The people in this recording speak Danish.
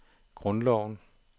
grundloven